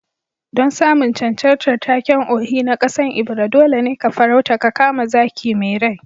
Don samun cancantar taken Ohi na kasan Ebira, dole ne ka farauta ka kama zaki mai rai